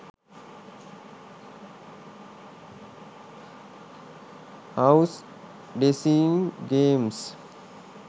house design games